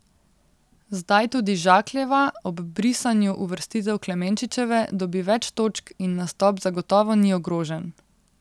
Zdaj tudi Žakljeva, ob brisanju uvrstitev Klemenčičeve, dobi več točk in nastop zagotovo ni ogrožen.